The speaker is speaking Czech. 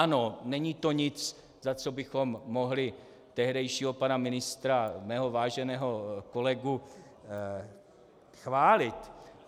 Ano, není to nic, za co bychom mohli tehdejšího pana ministra, mého váženého kolegu, chválit.